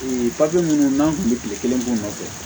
papiye minnu n'an kun bɛ kile kelen k'o nɔfɛ